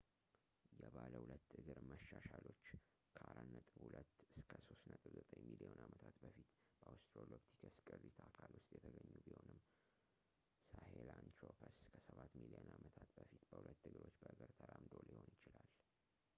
የባለ ሁለት እግር መሻሻሎች ከ 4.2-3.9 ሚሊዮን ዓመታት በፊት በአወስትራሎፒቲከስ ቅሪት አካል ውስጥ የተገኙ ቢሆንም ሳሄላንትሮፐስ ከሰባት ሚሊዮን ዓመታት በፊት በሁለት እግሮች በእግር ተራምዶ ሊሆን ይችላል፡፡